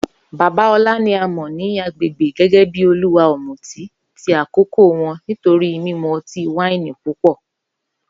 Baba Ola ni a mọ ni agbegbe gẹgẹbi oluwa ọmuti ti akoko wọn nitori mimu ọti-waini pupọ.